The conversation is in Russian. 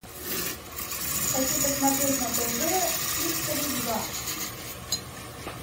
хочу посмотреть на тв хистори два